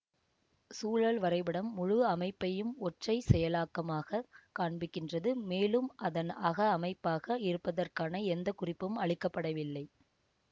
சூழல் வரைபடம் முழு அமைப்பையும் ஒற்றைச் செயலாக்கமாகக் காண்பிக்கின்றது மேலும் அதன் அக அமைப்பாக இருப்பதற்கான எந்த குறிப்பும் அளிக்க படவில்லை